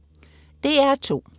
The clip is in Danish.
DR2: